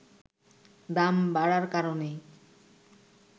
দাম বাড়ার কারণেই